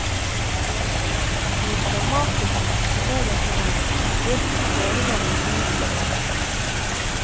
Hvor dramatisk dette egentlig er, vet vi foreløpig lite om.